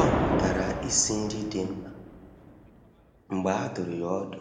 Ọ mụtara isi nri dị mma mgbe a dụrụ ya ọdụ